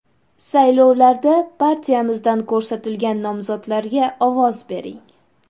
Saylovlarda partiyamizdan ko‘rsatilgan nomzodlarga ovoz bering!